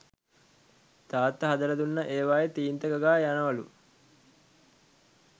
තාත්තා හදලා දුන්න ඒවයේ තීන්ත ගගා යනවලු